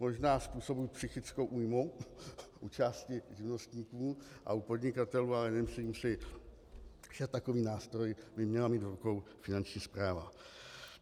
Možná způsobí psychickou újmu u části živnostníků a u podnikatelů, ale nemyslím si, že takový nástroj by měla mít v rukou Finanční správa.